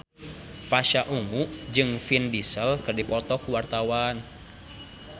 Pasha Ungu jeung Vin Diesel keur dipoto ku wartawan